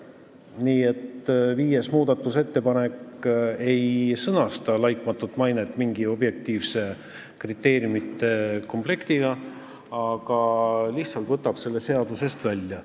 Nii et 5. muudatusettepanek ei sõnasta laitmatut mainet mingi objektiivsete kriteeriumite komplektina, vaid lihtsalt võtab selle seadusest välja.